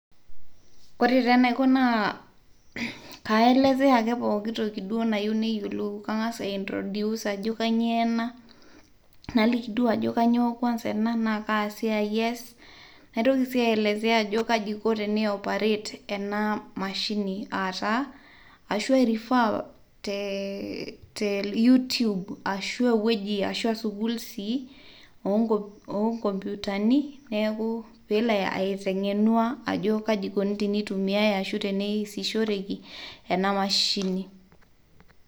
ore enaiko naa kaielezea ake pooki toki duo nayieuni neyiolou kang'asa aintroduce ajoo kainyioo ena naliki duoo ajoo kainyioo kwanza enaa na kasiai eas naitoki sii aielezea ajoo kaiko enioperate ena mashini ataa ashu airefer te you tube ashu tewueji ashu sukuul sii onkopiutani neeku peelo aiteng'enua ajo kaikoni eniyaya ashu easishoreki ena mashini